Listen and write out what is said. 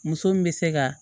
Muso min bɛ se ka